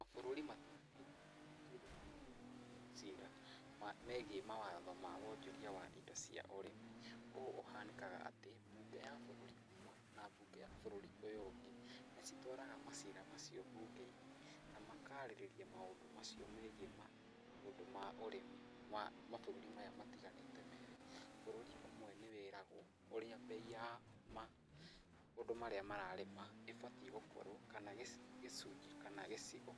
Mabũrũri matiganĩte nĩ matuithanagia macira megiĩ mawatho ma wonjoria wa indo cia ũrĩmi. Ũũ ũhanĩkaga atĩ mbunge ya bũrũri ũmwe, na mbunge ya bũrũri ũyũ ũngĩ nĩ citwaraga macira macio mbunge-inĩ na makarĩrĩria mũndũ macio megiĩ maundũ ma ũrĩmi wa mabũrũri maya matiganĩte merĩ. Bũrũri ũmwe nĩ wĩragũo ũrĩa mbei ya maũndũ marĩa mararĩma, ĩbatiĩ gũkorwo kana gĩcunji kana gĩcigo